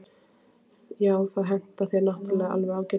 Já, það hentar þér náttúrulega alveg ágætlega.